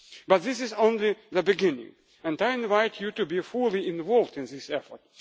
together. But this is only the beginning and I invite you to be fully involved